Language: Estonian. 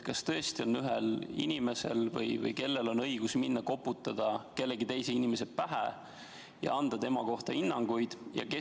Kas tõesti on ühel inimesel õigus või kellel on õigus minna, koputada kellelegi teisele inimesele vastu pead ja anda tema kohta hinnanguid?